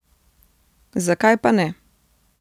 Zakaj pa ne.